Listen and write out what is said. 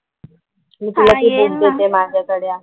मी तुला ते बुक देते. माझ्याकडे ते आहे.